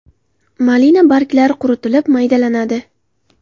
Malina barglari quritilib maydalanadi.